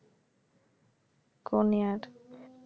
কোন year